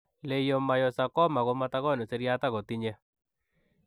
Leiomayosakoma ko matagonuu siryaat agoo tinyee